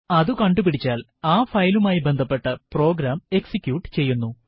അത് കണ്ടുപിടിച്ചാൽ ആ ഫയലുമായി ബന്ധപ്പെട്ട പ്രോഗ്രാം എക്സിക്യൂട്ട് ചെയ്യുന്നു